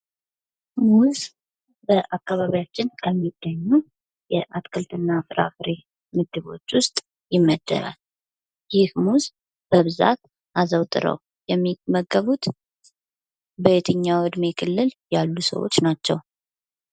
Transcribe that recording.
ሙዝ በአካባቢያችን ከሚገኙ የአትክልትና ፍራፍሬ ምድቦች ውስጥ ይመደባል። ይህ ሙዝ በብዛት አዘውትሮው የሚመገቡት በየትኛው የዕድሜ ክልል ያሉ ሰዎች ናቸው?